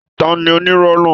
Tani onírọ́ náà?